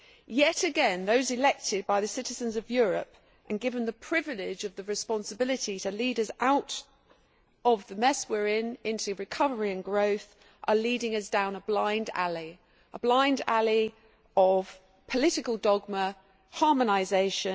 Yet again, those elected by the citizens of Europe and given the privilege of the responsibility to lead us out of the mess we are in into recovery and growth are leading us down a blind alley of political dogma and harmonisation.